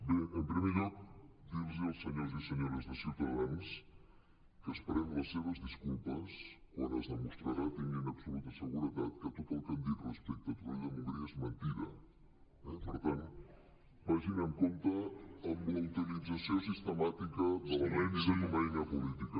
bé en primer lloc dir los als senyors i senyores de ciutadans que esperem les seves disculpes quan es demostrarà tinguin absoluta seguretat que tot el que han dit respecte a torroella de montgrí és mentida eh per tant vagin amb compte amb la utilització sistemàtica de la mentida com a eina política